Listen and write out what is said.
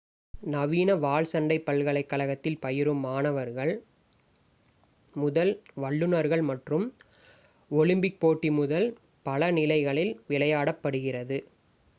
நவீன வாள் சண்டை பல்கலைக் கழகத்தில் பயிலும் மாணவர்கள் முதல் வல்லுனர்கள் மற்றும் ஒலிம்பிக் போட்டி முதல் பல நிலைகளில் விளையாடப்படுகிறது